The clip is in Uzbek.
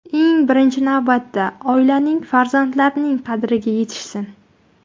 Eng birinchi navbatda oilaning, farzandlarining qadriga yetishsin.